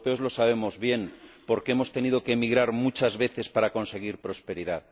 Los europeos lo sabemos bien, porque hemos tenido que emigrar muchas veces para conseguir prosperidad.